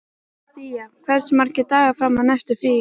Día, hversu margir dagar fram að næsta fríi?